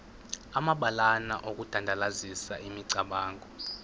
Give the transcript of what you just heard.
amabalana okudandalazisa imicamango